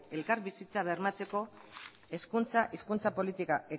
elkarbizitza bermatzeko hezkuntza hizkuntza politika